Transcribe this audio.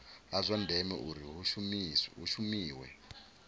zwa ndeme uri hu shumiwe